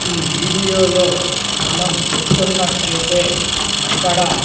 ఈ వీడియో లో మనం చూస్తున్నట్టైతే అక్కడ --